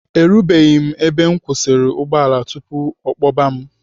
Erubeghị m ebe nkwụsị ụgbọala tupu ọ kpọba m.